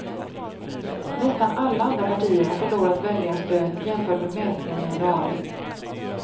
Nästan alla andra partier har förlorat väljarstöd jämfört med mätningen i januari.